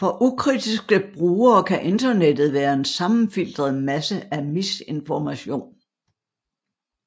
For ukritiske brugere kan Internettet være en sammenfiltret masse af misinformation